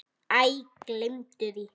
Æ, gleymdu því.